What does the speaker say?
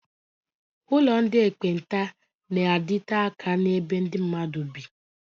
Ụlọ ndị ekpenta na-adite aka n'ebe ndị mmadụ bị.